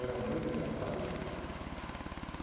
Era muito engraçado tudo.